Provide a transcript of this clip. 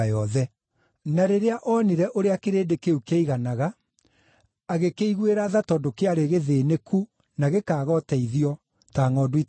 Na rĩrĩa oonire ũrĩa kĩrĩndĩ kĩu kĩaiganaga, agĩkĩiguĩra tha tondũ kĩarĩ gĩthĩĩnĩku na gĩkaaga ũteithio, ta ngʼondu itarĩ na mũrĩithi.